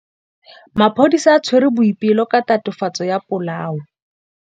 Maphodisa a tshwere Boipelo ka tatofatsô ya polaô.